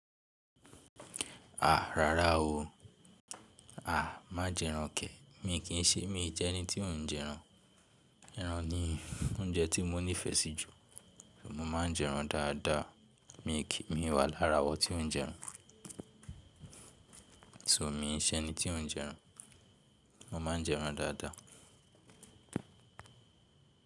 Àá, rárá o. Àá, má jẹ́ ẹran kẹ̀. Mi kì í ṣe mi jẹ́ ẹni tí ò ń jẹ ẹran. Ẹran ni oúnjẹ tí mo nífẹ̀ẹ́ sí jù. Mo máa ń jẹ ẹran dáadáa. Mi wà lára àwọn tí ó ń jẹ ẹran. So mi ṣe ni tí ò ń jẹ ẹran. Mo má a jẹ ẹran dáadáa.